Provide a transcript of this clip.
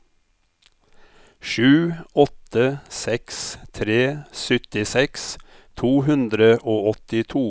sju åtte seks tre syttiseks to hundre og åttito